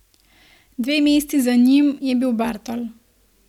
Dve mesti za njim je bil Bartol.